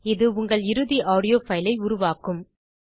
இது உங்கள் இறுதி ஆடியோ பைல் ஐ உருவாக்கும்